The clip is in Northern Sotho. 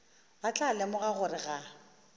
ba tla lemoga gore ga